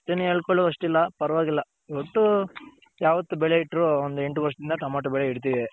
ಅಷ್ಟೇನ್ ಹೇಳ್ ಕೊಳೋಷ್ಟಿಲ್ಲ ಪರವಾಗಿಲ್ಲ ಒಟ್ಟು ಯಾವತ್ತ್ ಬೆಲೆ ಇಟ್ರು ಒಂದ್ ಎಂಟ ವರ್ಷದಿಂದ ಟಮ್ಯಾಟು ಬೆಳೆ ಇಡ್ತಿವಿ.